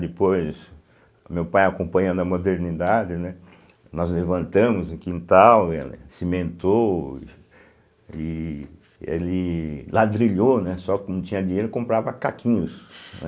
Depois, meu pai acompanhando a modernidade, né, nós levantamos o quintal, ele cimentou, e ele ladrilhou, né, só que não tinha dinheiro, comprava caquinhos, né.